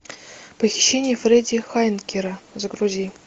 похищение фредди хайнекена загрузи